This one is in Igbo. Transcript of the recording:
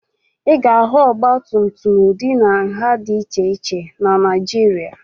Ị ga-ahụ ọgbatumtum ụdị na nha dị iche iche na Naịjirịa